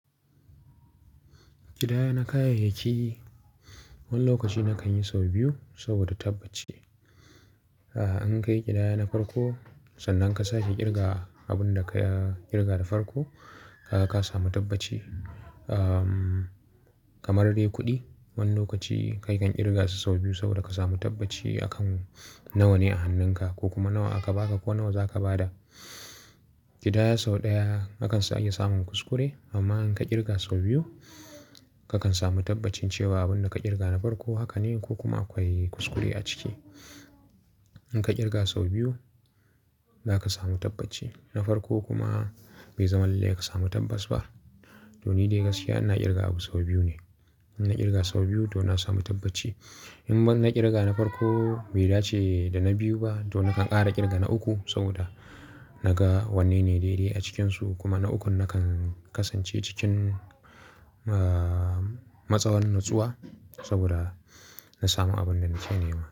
Kidaya na kayayyaki wani lokaci na kan yi sau biyu saboda tabbaci. A'a, an kai kidaya na farko sannan ka sake ƙirga abin da ka ƙirga da farko, kaga ka samu tabbaci. Ahhh, kamar dai kuɗi wani lokaci kai kan ƙirga su sau biyu saboda ka samu tabbaci akan nawa ne a hannunka ko kuma nawa aka baka ko nawa za ka ba da. Kidaya sau ɗaya akansa iya samun kuskure amma in ka ƙirga sau biyu kakan samu tabbacin cewa abin da ka ƙirga na farko haka ne ko kuma akwai kuskure a ciki. In ka ƙirga sau biyu za ka samu tabbaci. Na farko kuma bai zama lalle ka samu tabbas ba. To ni dai gaskiya ina ƙirga abu sau biyu ne. Ina ƙirga sau biyu don na samu tabbaci. In ban na ƙirga na farko bai dace da na biyu ba, to na kan ƙara ƙirga na uku saboda na ga wanne ne daidai a cikinsu kuma na ukun na kan kasance cikin, ahhh, matsawar natsuwa saboda na samu abin da na kenema.